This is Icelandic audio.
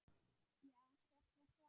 Já, hvert var svarið?